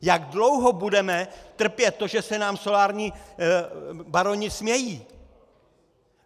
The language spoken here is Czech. Jak dlouho budeme trpět to, že se nám solární baroni smějí?